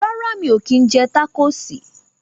Rárá, mí o kín jẹ tacosi